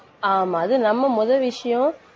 ஆமா, அது நம்ம முதல் விஷயம்